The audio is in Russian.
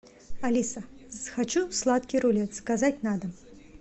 алиса хочу сладкий рулет заказать на дом